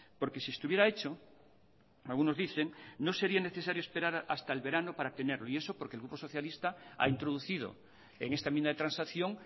porque si estuviera hecho algunos dicen que no sería necesario esperar hasta el verano para tenerlo y eso porque el grupo socialista ha introducido en esta enmienda de transacción